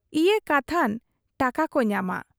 ᱤᱭᱟᱹ ᱠᱟᱛᱷᱟᱱ ᱴᱟᱠᱟᱠᱚ ᱧᱟᱢᱟ ᱾